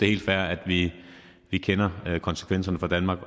helt fair at vi kender konsekvenserne for danmark